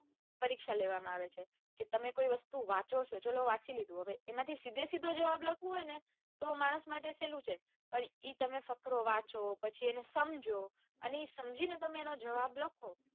પરીક્ષા લેવામાં આવે છે કે તમે કોઈ વસ્તુ વાંચો છો ચાલો વાંચી લીધું હવે એમાંથી સીધે સીધે જવાબ લખવી હોય તો માણસ માટે સેલુ છે પણ ઈ તમે ફકરો વાંચો પછી એને સમજો અને ઈ સમજી ને એનો જવાબ લખો